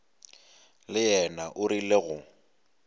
le yena o rile go